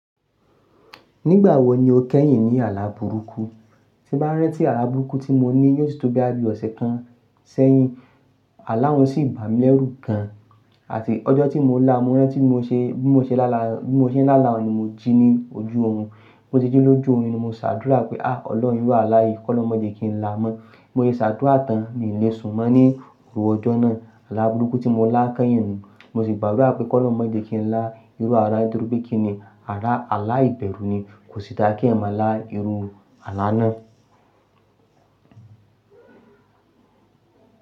Nígbà wo ni o kẹ́yìn ní àlá burúkú? Tí bá rántí àlá burúkú tí mo ní yóò tó bí i ọ̀sẹ̀ kan sẹ́yìn. Àlá wọn sì bà mí lẹ́rù gan an. Àti ọjọ́ tí mo la, mo rántí bó mo ṣe bó mo ṣe lála bó mo ṣe lála ni mo jí ní ojú ohun. Mo ti jí lójú oyún ni mo ṣàdúrà pé "à Ọlọ́run rù àlá yìí, kọ́ lọ má jẹ́ kí n la mọ́." Mo yé ṣàdúrà tán ní ilé, sùnmọ́ ni irú ọjọ́ náà. Àlá burúkú tí mo la kẹ́yìn nù. Mo sì gbàdúrà pé kọ́ lọ má jẹ́ kí n la irú àrá dúró bí kí ni àrá àlá ìbẹ̀rù ni kò sì dáa kí ẹ̀mà la irú àlá náà.